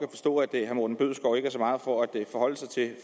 herre morten bødskov ikke er så meget for at forholde sig til det